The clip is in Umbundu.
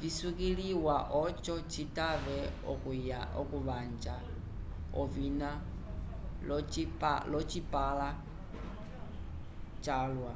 visukiliwa oco citave okuvanja ovina l'ocipãla calwa